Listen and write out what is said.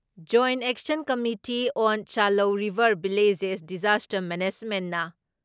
join action committee on Chalou river villages disaster ꯃꯦꯅꯦꯁꯃꯦꯟꯅ